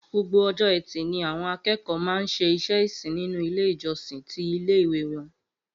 Gbogbo o̩jó̩ E̩tì ni àwo̩n aké̩kò̩ó̩ máa ń s̩e ìsìn nínú ilé ìjo̩sìn ti ilé ìwé wo̩n